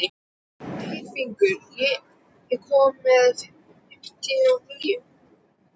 Tyrfingur, ég kom með fimmtíu og níu húfur!